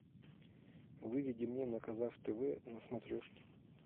выведи мне на казах тв на смотрешке